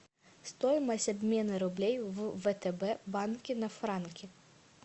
стоимость обмена рублей в втб банке на франки